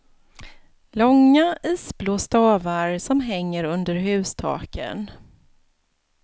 Långa, isblå stavar som hänger under hustaken.